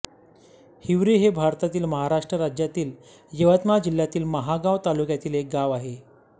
हिवरी हे भारतातील महाराष्ट्र राज्यातील यवतमाळ जिल्ह्यातील महागांव तालुक्यातील एक गाव आहे